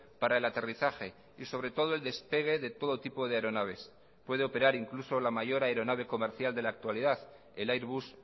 para el aterrizaje y sobre todo el despegue de todo tipo de aeronaves puede operar incluso la mayor aeronave comercial de la actualidad el airbus